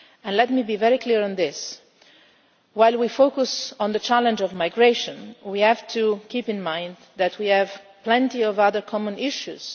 Let me be very clear on this while we focus on the challenge of migration, we have to keep in mind that we have plenty of other common issues.